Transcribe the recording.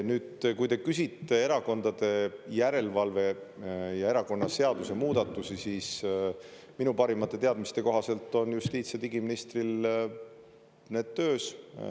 Nüüd, kui te küsite erakondade järelvalve ja erakonnaseaduse muudatusi, siis minu parimate teadmiste kohaselt on justiits- ja digiministril need töös.